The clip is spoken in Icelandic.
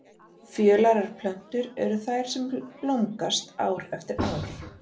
Fjölærar plöntur eru þær sem blómgast ár eftir ár.